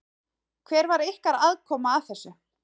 Hver var ykkar aðkoma að þessu?